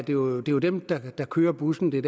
jo dem der kører busserne